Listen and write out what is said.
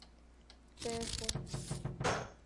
тефу